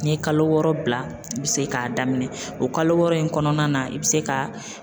N'i ye kalo wɔɔrɔ bila i bɛ se k'a daminɛ, o kalo wɔɔrɔ in kɔnɔna na i bɛ se ka